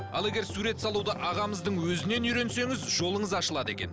ал егер сурет салуды ағамыздың өзінен үйренсеңіз жолыңыз ашылады екен